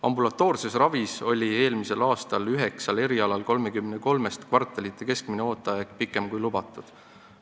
Ambulatoorses ravis oli eelmisel aastal üheksal erialal 33-st kvartalite arvestuses keskmine ooteaeg pikem, kui on lubatud.